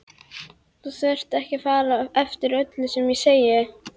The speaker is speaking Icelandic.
Þú þarft ekki að fara eftir öllu sem ég segi